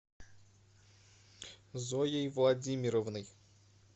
зоей владимировной